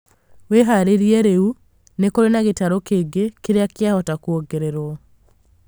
wĩharĩrie rĩu, nĩkũrĩ na gĩtarũ kĩngĩ kĩria kĩahota kũongererwo